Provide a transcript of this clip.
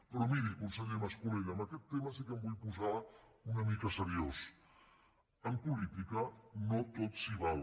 però miri conseller mas·colell en aquest tema sí que em vull posar una mica seriós en po·lítica no tot s’hi val